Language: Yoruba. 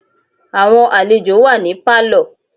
Àwọn àlejò wà ní Pálọ̀.